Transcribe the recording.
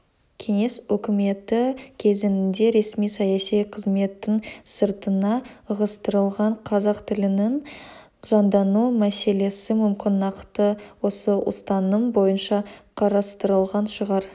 кеңес өкіметі кезеңінде ресми-саяси қызметтің сыртына ығыстырылған қазақ тілінің жандану мәселесі мүмкін нақты осы ұстаным бойынша қарастырылған шығар